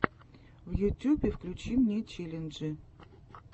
в ютюбе включи мне челленджи